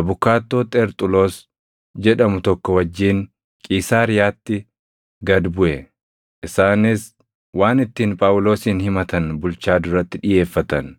abukaattoo Xerxuloos jedhamu tokko wajjin Qiisaariyaatti gad buʼe; isaanis waan ittiin Phaawulosin himatan bulchaa duratti dhiʼeeffatan.